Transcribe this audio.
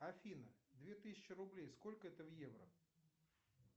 афина две тысячи рублей сколько это в евро